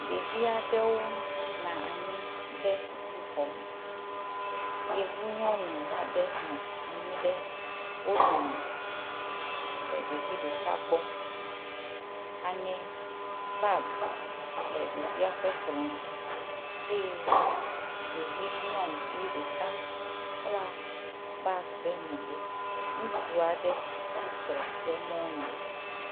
ɖeviaɖewo na anyi ɖe sukuxɔ me yevu nyɔnu aɖe nɔ anyi ɖe wó dome lɛ ɖɛvi ɖɛka gbɔ aŋɛ bag lɛ ɖɛvia ƒɛ kplɔ̃ dzi eye ɖɛvi nyɔŋuvi ɖeka kpla bag ɖɛ megbɛ ŋutsuaɖe tsitre ɖe muŋu